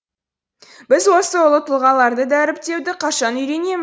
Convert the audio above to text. біз осы ұлы тұлғаларды дәріптеуді қашан үйренем